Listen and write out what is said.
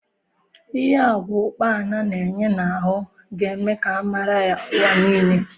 Ihe agwa ukpana na enye n'ahụ ga eme ka a mara ya ụwa nile